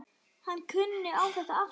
Hann kunni á þetta allt.